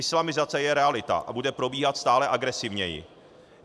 Islamizace je realita a bude probíhat stále agresivněji.